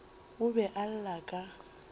o be a lla ka